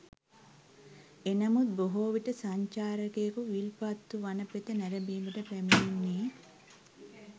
එනමුත් බොහෝවිට සංචාරකයකු විල්පත්තු වනපෙත නැරඹීමට පැමිණෙන්නේ